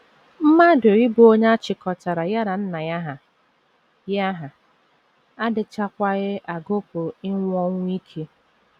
Mmadụ ‘ ịbụ onye a chịkọtara ya na nna ya hà ’ ya hà ’ adịchaghịkwa agụpụ ịnwụ ọnwụ ike.